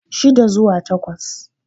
shida zuwa takwas